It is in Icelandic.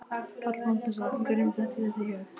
Páll Magnússon: Hverjum dettur þetta í hug?